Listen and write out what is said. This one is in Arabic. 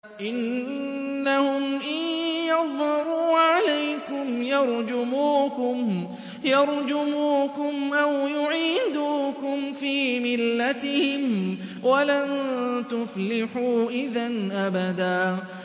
إِنَّهُمْ إِن يَظْهَرُوا عَلَيْكُمْ يَرْجُمُوكُمْ أَوْ يُعِيدُوكُمْ فِي مِلَّتِهِمْ وَلَن تُفْلِحُوا إِذًا أَبَدًا